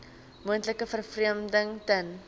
moontlike vervreemding ten